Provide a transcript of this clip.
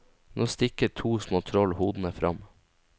Nå stikker to små troll hodene frem.